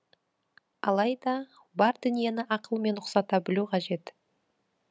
алайда бар дүниені ақылмен ұқсата білу қажет